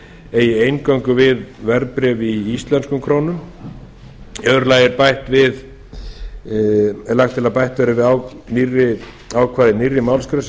eigi eingöngu við verðbréf í íslenskum krónum í öðru lagi er lagt til að bætt verði við ákvæðið nýrri málsgrein sem